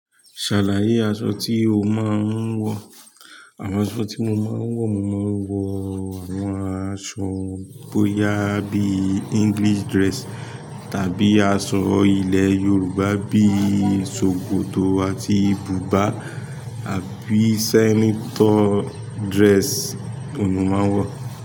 Ṣàlàyé aṣọ tí o máa ń wọ̀. Àwọn aṣọ tí mo máa ń wọ̀, mo máa ń wọ àwọn aṣọ bóyá bí English dress tàbí aṣọ ilẹ̀ Yorùbá bí i sòkòto àti bùbá. Àbí sẹnitọ dress oun ni mo maa n wọ.